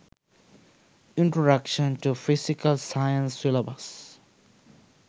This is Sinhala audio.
introduction to physical sciences syllabus